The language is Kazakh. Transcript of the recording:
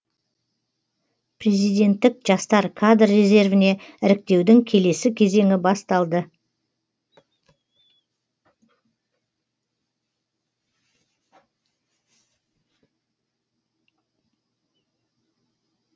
президенттік жастар кадр резервіне іріктеудің келесі кезеңі басталды